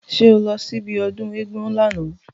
Ṣé o lọ sí ibi ọdún éégún lána?